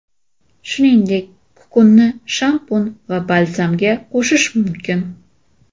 Shuningdek, kukunni shampun va balzamga qo‘shish mumkin.